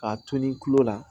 K'a toli kulo la